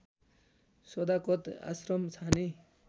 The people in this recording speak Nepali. सदाकत आश्रम छाने